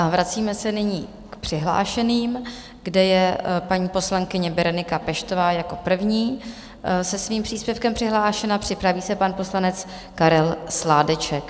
A vracíme se nyní k přihlášeným, kde je paní poslankyně Berenika Peštová jako první se svým příspěvkem přihlášena, připraví se pan poslanec Karel Sládeček.